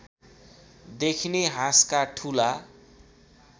देखिने हाँसका ठूला